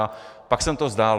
A pak jsem to vzdal.